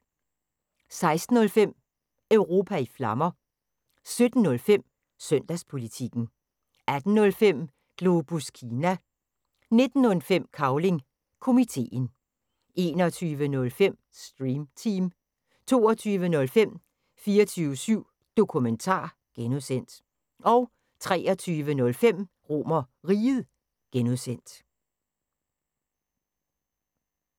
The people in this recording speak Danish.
16:05: Europa i Flammer 17:05: Søndagspolitikken 18:05: Globus Kina 19:05: Cavling Komiteen 21:05: Stream Team 22:05: 24syv Dokumentar (G) 23:05: RomerRiget (G)